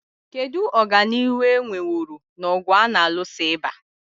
Kedu ọganihu e nweworo n'ọgụ a na-alụso ịba?